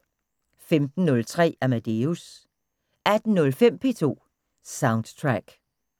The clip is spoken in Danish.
15:03: Amadeus 18:05: P2 Soundtrack